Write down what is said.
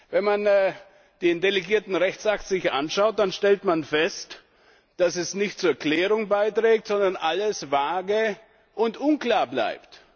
Wenn man sich den delegierten Rechtsakt anschaut, stellt man fest, dass er nicht zur Klärung beiträgt, sondern alles vage und unklar bleibt.